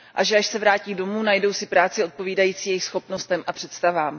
A že až se vrátí domů, najdou si práci odpovídající jejich schopnostem a představám.